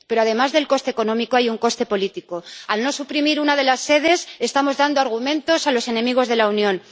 Pero además del coste económico, hay un coste político al no suprimir una de las sedes estamos dando argumentos a los enemigos de la Unión.